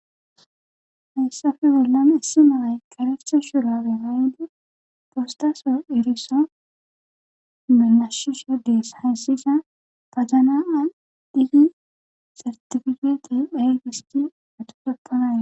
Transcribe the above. Hayssafe bollame issi malay qaresa shura wegaayde postaso eriso melashiso dees hassisa pazanaa dhigi sartifigete phayygisti atutopkanaye.